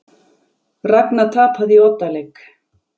Ragna tapaði í oddaleik